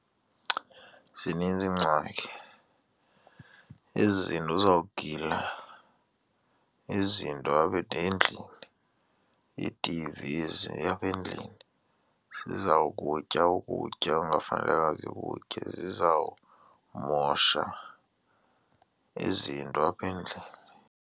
Zininzi iingxaki, ezi zinto zizawugila izinto apha endlini, ii-T_Vs apha endlini zizawukutya ukutya okungafanelekanga zikutye, zizawumosha izinto apha endlini.